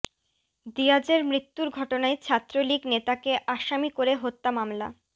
দিয়াজের মৃত্যুর ঘটনায় ছাত্রলীগ নেতাকে আসামি করে হত্যা মামলা